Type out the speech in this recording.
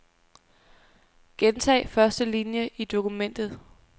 Gentag første linie i dokumentet.